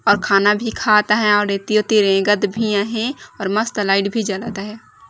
और खाना भी खात हे और एती ओती रेगत भी हे और मस्त लाइट भी जलता हे ।